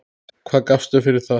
Hvað gafstu fyrir það?